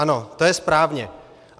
Ano, to je správně.